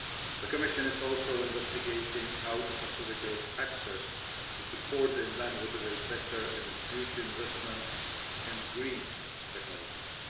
The Commission is also investigating how to facilitate access to support the inland waterways sector in its future investments and green technologies.